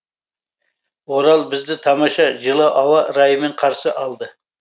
орал бізді тамаша жылы ауа райымен қарсы алды